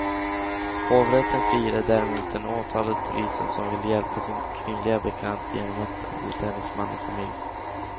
Hovrätten friade däremot den åtalade polisen som ville hjälpa sin kvinnliga bekant genom att hota hennes man och familj.